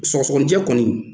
Sɔgɔsɔgɔninjɛ kɔni